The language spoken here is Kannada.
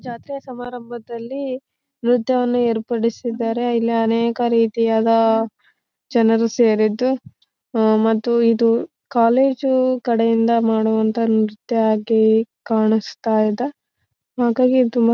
ಅವರೆಲ್ಲ ಅಂತವೂ ಡ್ರೆಸ್ ಹಾಕೊಂಡು ಡ್ಯಾನ್ಸ್ ಮಾಡೋದು ನೋಡದೆ ಚಂದ.